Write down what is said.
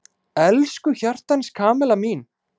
Elsku hjartans Kamilla mín!